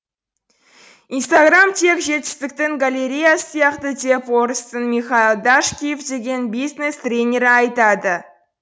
инстаграм тек жетістіктің галереясы сияқты деп орыстың михаил дашкиев деген бизнес тренері айтады